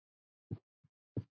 spurði Ásta.